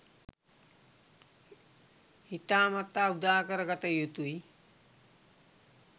හිතාමතා උදාකරගත යුතුයි